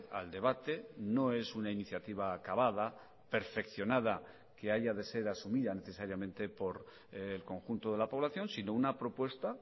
al debate no es una iniciativa acabada perfeccionada que haya de ser asumida necesariamente por el conjunto de la población sino una propuesta